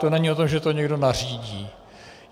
To není o tom, že to někdo nařídí.